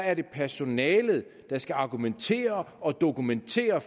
er det personalet der skal argumentere og dokumentere